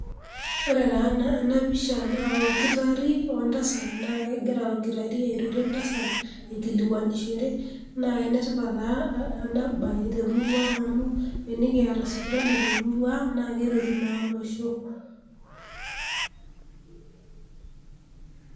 Ore taa ena pisha naa olkitarri oo entasat naa kegira olkitarri airorie entasat aikilikuonishore naa enetipat taa enatipat amu tenikiata sipitali temurua ang' naa keretu naa olosho.